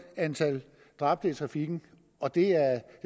antal dræbte i trafikken og det